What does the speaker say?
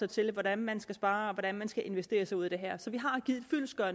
til hvordan man skal spare og hvordan man skal investere sig ud af det her så vi